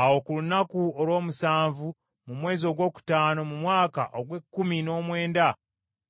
Awo ku lunaku olw’omusanvu mu mwezi ogwokutaano mu mwaka ogw’ekkumi n’omwenda